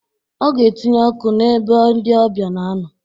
Ọga etinye ọkụ n'ebe ndi ọbịa na-anọ